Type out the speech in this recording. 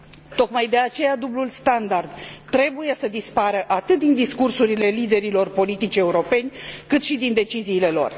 Tocmai de aceea dublul standard trebuie să dispară atât din discursurile liderilor politici europeni, cât și din deciziile lor.